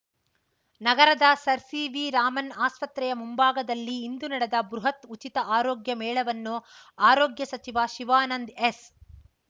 ನಗರದ sir C V Raman ಆಸ್ಪತ್ರೆಯ ಮುಂಭಾಗದಲ್ಲಿ ಇಂದು ನಡೆದ ಬೃಹತ್ ಉಚಿತ ಆರೋಗ್ಯ ಮೇಳವನ್ನು ಆರೋಗ್ಯ ಸಚಿವ ಶಿವಾನಂದ್ ಎಸ್